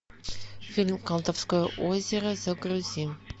фильм колдовское озеро загрузи